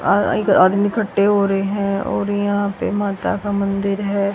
आदमी इकठ्ठे हो रहे हैं और यहां पे माता का मंदिर है।